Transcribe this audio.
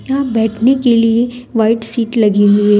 यहां बैठने के लिए व्हाइट सीट लगी हुई है।